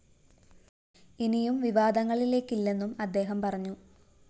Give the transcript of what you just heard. ഇനിയും വിവാദങ്ങളിലേക്കില്ലെന്നും അദ്ദേഹം പറഞ്ഞു